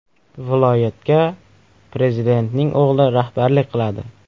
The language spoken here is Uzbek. Viloyatga prezidentning o‘g‘li rahbarlik qiladi.